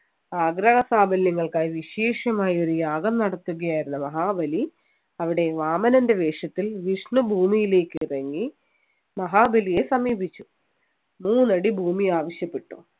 ആഗ്രഹസാഫല്യങ്ങൾക്കായി വിശേഷമായ ഒരു യാഗം നടത്തുകയായിരുന്ന മഹാബലി അവിടെ വാമനൻ്റെ വേഷത്തിൽ വിഷ്ണു ഭൂമിയിലേക്ക് ഇറങ്ങി മഹാബലിയെ സമീപിച്ചു മൂന്നടി ഭൂമി ആവശ്യപ്പെട്ടു